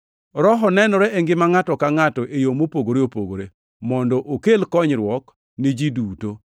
Roho nenore e ngima ngʼato ka ngʼato e yo mopogore opogore, mondo okel konyruok ni ji duto.